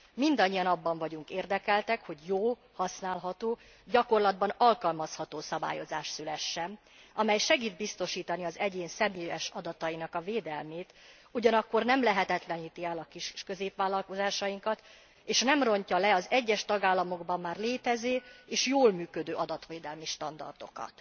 Mindannyian abban vagyunk érdekeltek, hogy jó, használható, gyakorlatban alkalmazható szabályozás szülessen, amely segít biztosítani az egyén személyes adatainak a védelmét, ugyanakkor nem lehetetleníti el a kis és középvállalkozásainkat, és nem rontja le az egyes tagállamokban már létező, és jól működő adatvédelmi standardokat.